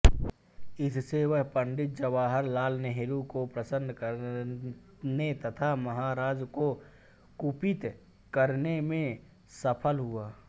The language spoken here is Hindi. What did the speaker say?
इससे वह पं नेहरू को प्रसन्न करने तथा महाराजा को कुपित करने में सफल हुआ